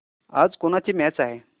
आज कोणाची मॅच आहे